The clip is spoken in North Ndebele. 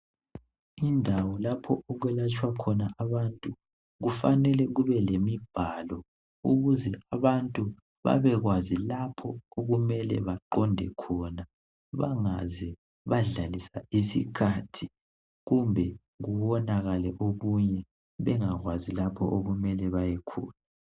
Indawo lapho okwelatshwa khona abantu kufanele kube lemibhalo ukuze abantu babekwazi lapho okumele baqonde khona bangaze badlalisa isikhathi kumbe kuwonakale okunye bengakwazi lapho okumele bayekhona.